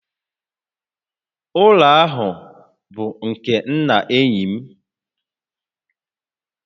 Ụlọ ahụ bụ nke nna enyi m